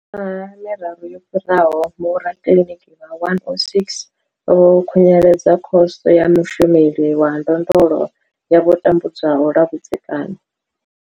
Miṅwaha miraru yo fhiraho, vhorakiḽiniki vha 106 vho khunyeledza Khoso ya Mushumeli wa Ndondolo ya vho tambudzwaho lwa vhudzekani.